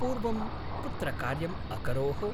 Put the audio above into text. पूर्वं कुत्र कार्यम् अकरोः?